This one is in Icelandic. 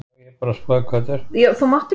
Telma Tómasson: En er forystan samstíga?